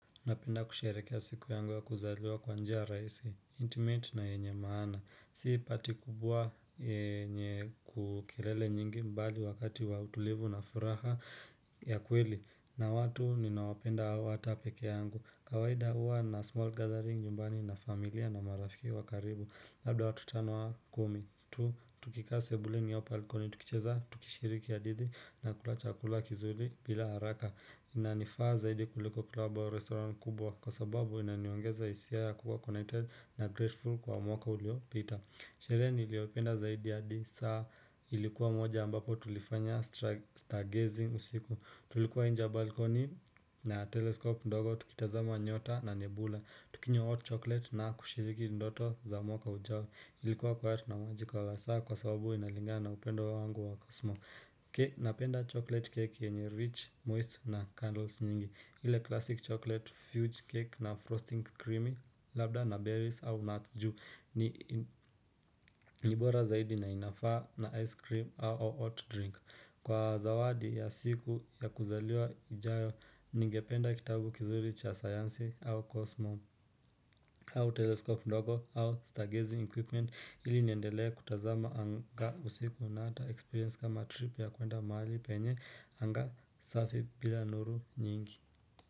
Napenda kusherehekea siku yangu ya kuzaliwa kwa njia rahisi Intimate na yenye maana, si party kubwa yenye kelele nyingi bali wakati wa utulivu na furaha ya kweli na watu ninaowapenda au hata peke yangu Kawahida huwa na small gathering nyumbani na familia na marafiki wa karibu Labda watu tano au kumi, tu, tukikaa sebuleni au balcony, tukicheza, tukishiriki hadithi na kula chakula kizuri bila haraka inanifaa zaidi kuliko klabu au restaurant kubwa kwa sababu inaniongeza hisia ya kuwa connected na grateful kwa mwaka uliopita Sherehe niliopenda zaidi hadi saa ilikuwa moja ambapo tulifanya stargazing usiku Tulikuwa nje balkoni na telescope ndogo tukitazama nyota na nebula Tukinywa hot chocolate na kushiriki ndoto za mwaka ujao Ilikuwa kwa hatu na majika wa saa kwa sababu inalinga na upendo wangu wa kosmo Ke napenda chocolate cake yenye rich, moist na candles nyingi ile classic chocolate fudge cake na frosting creamy labda na berries au nut ju ni nibora zaidi na inafaa na ice cream au hot drink Kwa zawadi ya siku ya kuzaliwa ijayo ningependa kitabu kizuri cha sayansi au cosmo au teleskop ndogo au staghezi equipment ili niendelee kutazama anga usiku na hata experience kama trip yakwenda mahali penye anga safi bila nuru nyingi.